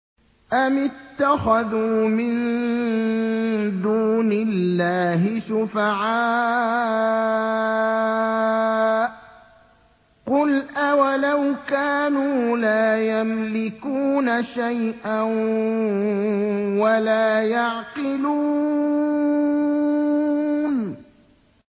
أَمِ اتَّخَذُوا مِن دُونِ اللَّهِ شُفَعَاءَ ۚ قُلْ أَوَلَوْ كَانُوا لَا يَمْلِكُونَ شَيْئًا وَلَا يَعْقِلُونَ